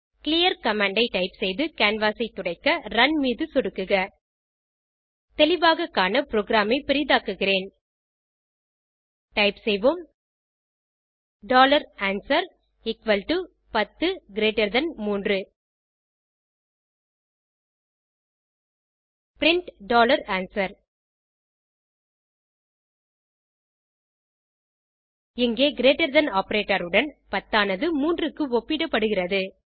clear commandஐ type செய்து canvas ஐ துடைக்க ரன் மீது சொடுக்குக தெளிவாக காண புரோகிராம் ஐ பெரிதாக்குகிறேன் டைப் செய்வோம் answer 10 3 பிரின்ட் answer இங்கே கிரீட்டர் தன் ஆப்பரேட்டர் உடன் 10 ஆனது 3 க்கு ஒப்பிடப்படுகிறது